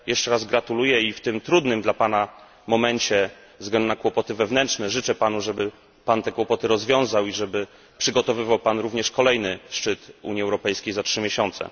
Jeszcze raz gratuluję i w tym trudnym dla Pana momencie, ze względu na kłopoty wewnętrzne, życzę Panu, żeby Pan te kłopoty rozwiązał i żeby przygotowywał Pan również kolejny szczyt Unii Europejskiej za trzy miesiące.